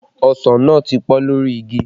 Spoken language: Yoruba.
Ọsàn náà ti pọ́n lórí igi